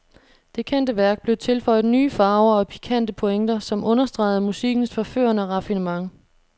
Det kendte værk blev tilføjet nye farver og pikante pointer, som understregede musikkens forførende raffinement.